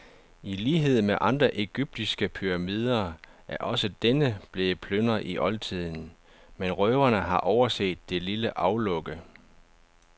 I lighed med andre egyptiske pyramider er også denne blevet plyndret i oldtiden, men røverne har overset det lille aflukke.